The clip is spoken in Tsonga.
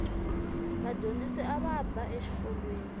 vadyondzisi ava ba exikolweni